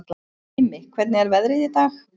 Brimi, hvernig er veðrið í dag?